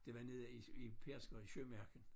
Det var nede i i Pedersker i Sømarken